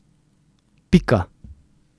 Pika.